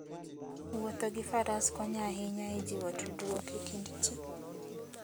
Wuotho gi Faras konyo ahinya e jiwo tudruok e kind ji.